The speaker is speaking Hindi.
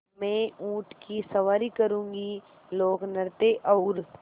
मैं ऊँट की सवारी करूँगी लोकनृत्य और